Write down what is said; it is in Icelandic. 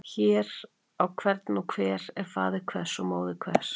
Hver á hvern og hver er faðir hvers og móðir hvers.